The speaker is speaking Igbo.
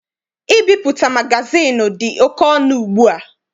Ibipụta magazịịnụ dị oke ọnụ ugbua.